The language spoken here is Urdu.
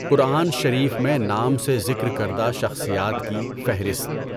قرآن شریف میں نام سے ذکر کردہ شخصیات کی فہرست